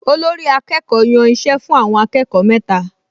Olórí-akẹ́kọ̀ọ́ yàn iṣẹ́ fún àwọn akẹ́kọ̀ọ mẹ́ta